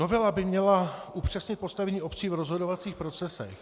Novela by měla upřesnit postavení obcí v rozhodovacích procesech.